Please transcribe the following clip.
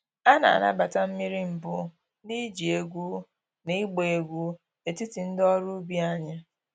A na-anabata mmiri mbụ na iji egwu na ịgba egwu n’etiti ndị ọrụ ubi anyị.